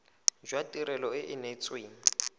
jwa tirelo e e neetsweng